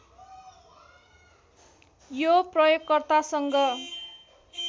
यो प्रयोगकर्तासँग